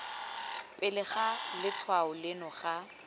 pele ga letshwao leno ga